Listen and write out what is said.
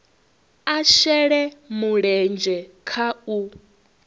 a shele mulenzhe kha u